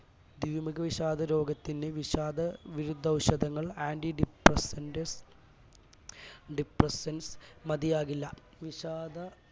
ദ്വിമുഖ വിഷാദ രോഗത്തിന് വിഷാദവിരുദ്ധഔഷധങ്ങൾ anti depressant depressants മതിയാകില്ല വിഷാദ